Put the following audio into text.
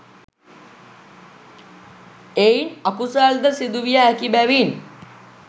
එයින් අකුසල් ද සිදුවිය හැකි බැවින්